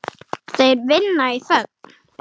Þeir vinna í þögn.